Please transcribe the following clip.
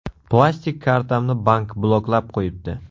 Plastik kartamni bank bloklab qo‘yibdi.